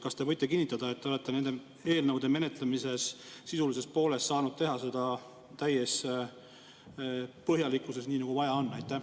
Kas te võite kinnitada, et te olete nende eelnõude menetlemisel saanud teha seda sisu poolest täie põhjalikkusega, nii nagu vaja on?